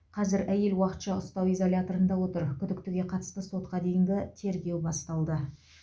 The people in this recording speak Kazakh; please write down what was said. қазір әйел уақытша ұстау изоляторында отыр күдіктіге қатысты сотқа дейінгі тергеу басталды